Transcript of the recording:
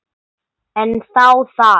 En þá það.